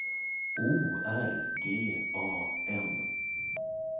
O R G A N